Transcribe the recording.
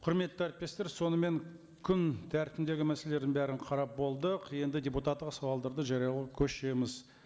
құрметті әріптестер сонымен күн тәртібіндегі мәселелердің бәрін қарап болдық енді депутаттық сауалдарды жариялауға көшеміз